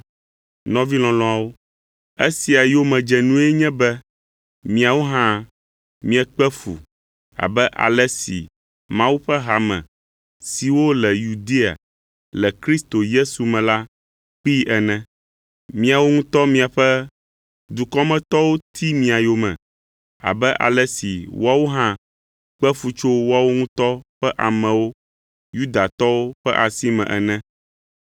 Nɔvi lɔlɔ̃awo, esia yomedzenue nye be miawo hã miekpe fu abe ale si Mawu ƒe hame siwo le Yudea le Yesu Kristo me la kpee ene. Miawo ŋutɔ miaƒe dukɔmetɔwo ti mia yome abe ale si woawo hã kpe fu tso woawo ŋutɔ ƒe amewo, Yudatɔwo ƒe asi me ene.